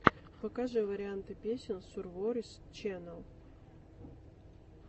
покажи варианты песен сурворис чэннел